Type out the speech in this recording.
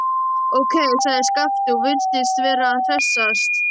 Ókei, sagði Skapti og virtist vera að hressast.